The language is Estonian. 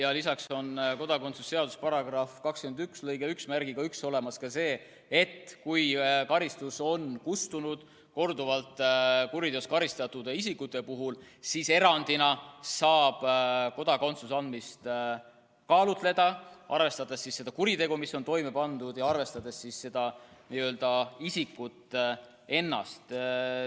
Aga lisaks on kodakondsuse seaduse § 21 lõikes 11 olemas ka see, et kui karistus on korduvalt kuriteo eest karistatud isikute puhul kustunud, siis saab kaaluda erandina kodakondsuse andmist, arvestades nii kuritegu, mis on toime pandud, kui ka isikut ennast.